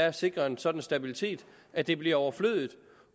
at sikre en sådan stabilitet at det bliver overflødigt